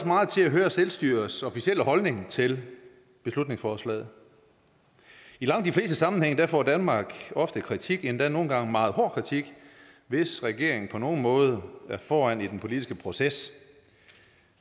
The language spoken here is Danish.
meget til at høre selvstyrets officielle holdning til beslutningsforslaget i langt de fleste sammenhænge får danmark ofte kritik endda nogle gange meget hård kritik hvis regeringen på nogen måde er foran i den politiske proces